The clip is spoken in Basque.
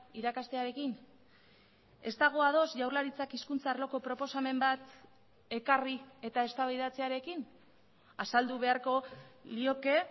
irakastearekin ez dago ados jaurlaritzak hizkuntza arloko proposamen bat ekarri eta eztabaidatzearekin azaldu beharko lioke